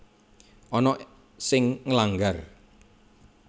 Ana sing nglanggar